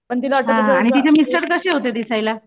पण तीला असं कुठं